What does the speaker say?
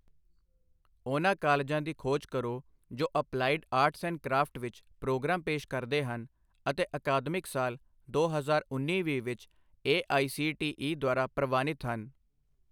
ਉਹਨਾਂ ਕਾਲ਼ਜਾਂ ਦੀ ਖੋਜ ਕਰੋ ਜੋ ਅਪਲਾਈਡ ਆਰਟਸ ਐਂਡ ਕ੍ਰਾਫਟ ਵਿੱਚ ਪ੍ਰੋਗਰਾਮ ਪੇਸ਼ ਕਰਦੇ ਹਨ ਅਤੇ ਅਕਾਦਮਿਕ ਸਾਲ ਦੋ ਹਜ਼ਾਰ ਉੱਨੀ ਵੀਹ ਵਿੱਚ A I C T E ਦੁਆਰਾ ਪ੍ਰਵਾਨਿਤ ਹਨ